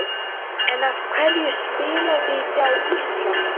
En af hverju spilavíti á Íslandi?